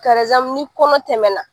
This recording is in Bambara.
ni kɔnɔ tɛmɛna